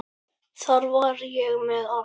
Þar var ég með allt.